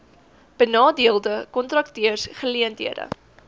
benadeelde kontrakteurs geleenthede